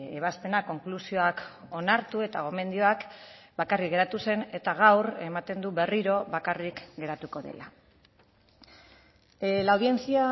ebazpenak konklusioak onartu eta gomendioak bakarrik geratu zen eta gaur ematen du berriro bakarrik geratuko dela la audiencia